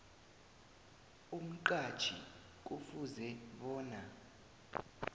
umqhatjhi kufuze bona